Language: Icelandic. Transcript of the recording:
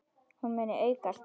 Hún muni aukast!